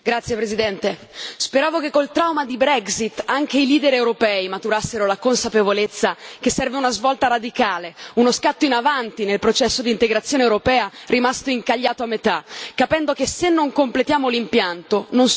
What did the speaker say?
anche i leader europei maturassero la consapevolezza che serve una svolta radicale, uno scatto in avanti nel processo di integrazione europea, rimasto incagliato a metà, capendo che se non completiamo l'impianto, non solo è inefficace ma per molti versi controproducente.